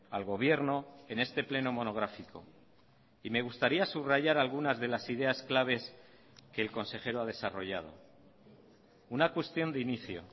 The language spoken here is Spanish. al gobierno en este pleno monográfico y me gustaría subrayar algunas de las ideas claves que el consejero ha desarrollado una cuestión de inicio